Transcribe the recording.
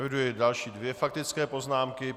Eviduji další dvě faktické poznámky.